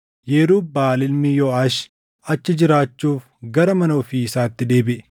Yerub-Baʼaal ilmi Yooʼaash achi jiraachuuf gara mana ofii isaatti deebiʼe.